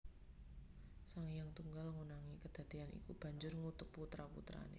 Sang Hyang Tunggal ngonangi kedadéyan iku banjur ngutuk putra putrané